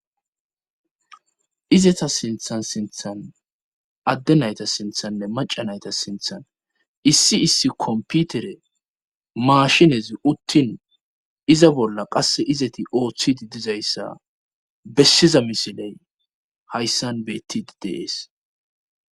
izeta sinthan sinthan adde nayta sinthanne maca nayta sinthan issi issi komputere maashinezi uttin iza bolla qasse izeti ooththidi dizayssa bessiza misiley hayssan beettii deees